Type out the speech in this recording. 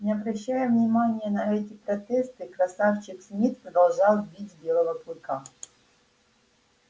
не обращая внимания на эти протесты красавчик смит продолжал бить белого клыка